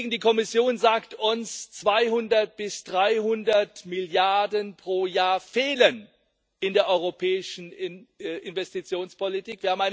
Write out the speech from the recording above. Die Kommission sagt uns 200 bis 300 Milliarden pro Jahr fehlen in der europäischen Investitionspolitik.